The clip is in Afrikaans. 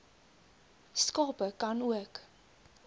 skape ka nook